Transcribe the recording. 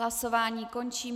Hlasování končím.